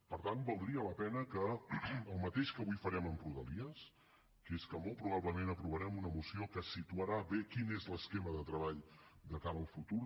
per tant valdria la pena que el mateix que avui farem amb rodalies que és que molt probablement aprovarem una moció que situarà bé quin és l’esquema de treball de cara al futur